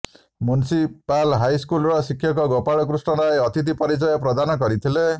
municipal ହାଇସ୍କୁଲର ଶିକ୍ଷକ ଗୋପାଳ କୃଷ୍ଣ ରାୟ ଅତିଥି ପରିଚୟ ପ୍ରଦାନ କରିଥିଲେ